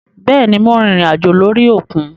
Béèni Mo rìnrìn àjò lórí òkun